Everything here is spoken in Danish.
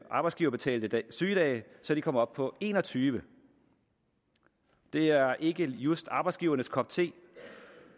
arbejdsgiverbetalte sygedage så de kom op på enogtyvende det er ikke just arbejdsgivernes kop te